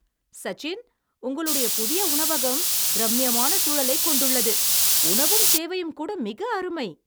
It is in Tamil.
சச்சின், உங்களுடைய புதிய உணவகம் ரம்மியமான சூழலைக் கொண்டுள்ளது. உணவும் சேவையும்கூட மிக அருமை.